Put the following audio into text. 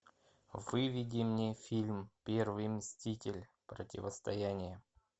выведи мне фильм первый мститель противостояние